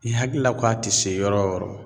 I hakilila ko a te se yɔrɔ o yɔrɔ